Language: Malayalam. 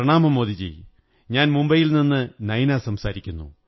പ്രണാമം മോദീജീ ഞാൻ മുംബൈയിൽ നിന്നു നൈന സംസാരിക്കുന്നു